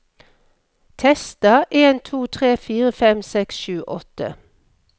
Tester en to tre fire fem seks sju åtte